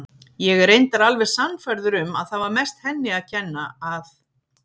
Ég er reyndar alveg sannfærður um að það var mest henni að kenna að